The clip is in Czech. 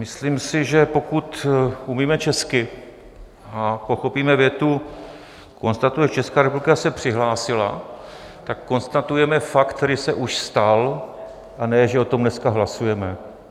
Myslím si, že pokud umíme česky a pochopíme větu "... konstatuje, že Česká republika se přihlásila...", tak konstatujeme fakt, který se už stal, a ne že o tom dneska hlasujeme.